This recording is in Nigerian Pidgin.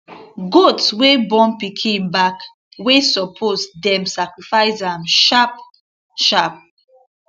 goat wey born pikin back way suppose dem sacrifice am sharp sharp